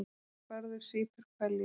Bárður sýpur hveljur.